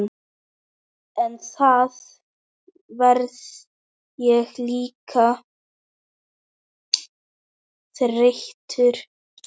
En þá verð ég líka þreyttur.